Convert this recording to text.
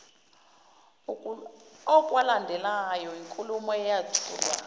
okwalandelwa yinkulumo eyathulwa